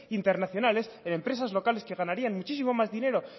internacionales en empresas locales que ganarían muchísimo más dinero